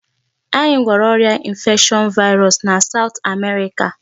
Anyị gwọrọ ọrịa infection virus na South America.